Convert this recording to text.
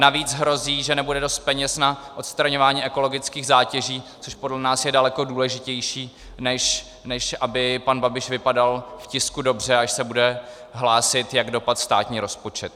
Navíc hrozí, že nebude dost peněz na odstraňování ekologických zátěží, což podle nás je daleko důležitější, než aby pan Babiš vypadal v tisku dobře, až se bude hlásit, jak dopadl státní rozpočet.